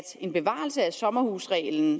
en bevarelse af sommerhusreglen